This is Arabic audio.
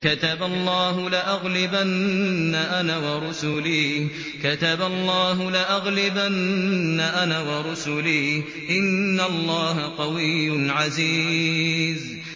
كَتَبَ اللَّهُ لَأَغْلِبَنَّ أَنَا وَرُسُلِي ۚ إِنَّ اللَّهَ قَوِيٌّ عَزِيزٌ